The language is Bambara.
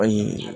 Ayi